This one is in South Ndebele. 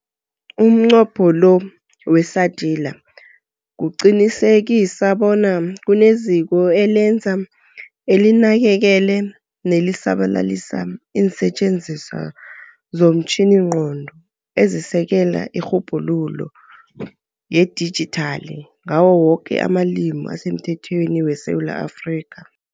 Umnqopho we-SADiLaR kuqinisekisa bona kuneziko elenza, elinakekele nelisabalalisa iinsetjeniswa zomtjhiningqondo ezisekela irhubhululo yedijithali ngawo woke amalimi asemthethweni weSewula Afrika.